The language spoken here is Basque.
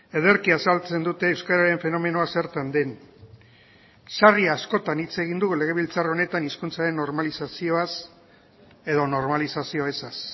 ederki azaltzen dute euskararen fenomenoa zertan den sarri askotan hitz egin dugu legebiltzar honetan hizkuntzaren normalizazioaz edo normalizazio ezaz